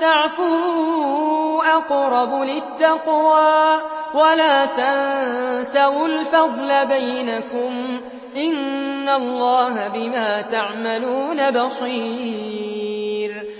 تَعْفُوا أَقْرَبُ لِلتَّقْوَىٰ ۚ وَلَا تَنسَوُا الْفَضْلَ بَيْنَكُمْ ۚ إِنَّ اللَّهَ بِمَا تَعْمَلُونَ بَصِيرٌ